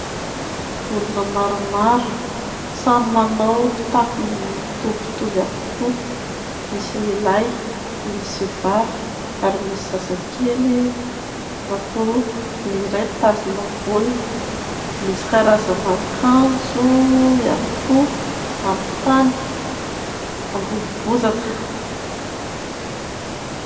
Olona maromaro samy manao fitafy mitovimitovy avokoa misy lehilahy, misy vehivavy ary misy zazakely anankiroa, ny iray mitazona baolina, misy karazana akanjo ihany koa amin'ny tany ambony bozaka.